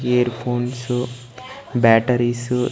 year phones batteries --